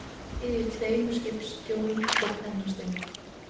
Yfir tveimur skipstjórum og pennastöng.